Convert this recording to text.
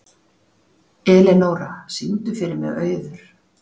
Elenóra, syngdu fyrir mig „Auður“.